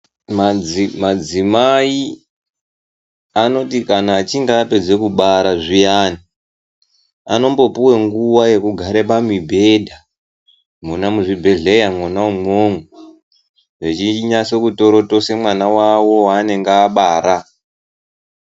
Madzimai anoti kana achinge apedze kubara zviyani anombopuwe nguwa yekugare pamibhedha mona muzvibhedhleya mwona imomo vechinatso kutorotose mwana wavo waanenge abara.